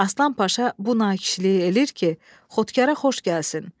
Aslan Paşa bu nakişliyi eləyir ki, xodkarə xoş gəlsin.